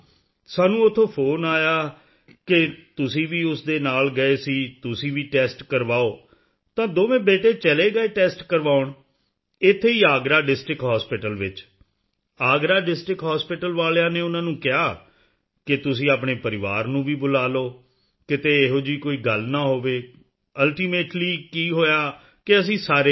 ਸਾਨੂੰ ਉੱਥੋਂ ਫੋਨ ਆਇਆ ਕਿ ਤੁਸੀਂ ਵੀ ਉਸ ਦੇ ਨਾਲ ਗਏ ਸੀ ਤੁਸੀਂ ਵੀ ਟੈਸਟ ਕਰਵਾਓ ਤਾਂ ਦੋਵੇਂ ਬੇਟੇ ਚਲੇ ਗਏ ਟੈਸਟ ਕਰਵਾਉਣ ਇੱਥੇ ਹੀ ਅਗਰਾ ਡਿਸਟ੍ਰਿਕਟ ਹਾਸਪਿਟਲ ਵਿੱਚ ਅਗਰਾ ਡਿਸਟ੍ਰਿਕਟ ਹਾਸਪਿਟਲ ਵਾਲਿਆਂ ਨੇ ਉਨ੍ਹਾਂ ਨੂੰ ਕਿਹਾ ਕਿ ਤੁਸੀਂ ਆਪਣੇ ਪਰਿਵਾਰ ਨੂੰ ਵੀ ਬੁਲਾ ਲਓ ਕਿਤੇ ਕੋਈ ਅਜਿਹੀ ਗੱਲ ਨਾ ਹੋਵੇ ਅਲਟੀਮੇਟਲੀ ਕੀ ਹੋਇਆ ਕਿ ਅਸੀਂ ਸਾਰੇ ਗਏ